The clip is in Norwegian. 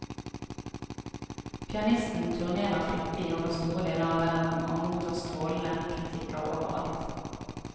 Pianisten turnerer flittig over store deler av verden og mottar strålende kritikker over alt.